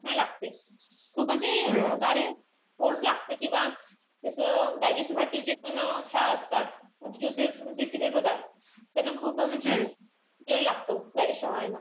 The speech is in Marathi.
लागते. खूप म्हणजे लागते. किंवा त्याच digestion साठी जे पण ह्या असतात. Juices जे secret होतात. त्यांना खूप म्हणजे लागतो digestion व्हायला.